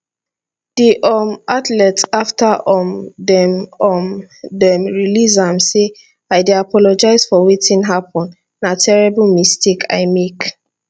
di um athlete afta um dem um dem release am say i dey apologise for wetin happun na terrible mistake i make